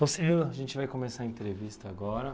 Então, senhor, a gente vai começar a entrevista agora.